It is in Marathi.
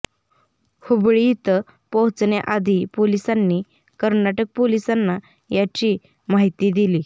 हुबळी इथं पोहोचण्याआधी पोलिसांनी कर्नाटक पोलिसांना याची माहिती दिली